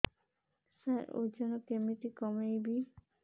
ସାର ଓଜନ କେମିତି କମେଇବି